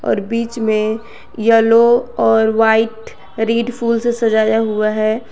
और बीच में येलो और व्हाइट रेड फूल से सजाया हुआ है।